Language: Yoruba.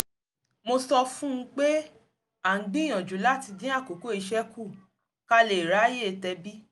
mo sọ fún un pé a ń gbìyànjú láti dín àkókò iṣẹ́ kù ká lè ráyè tẹbí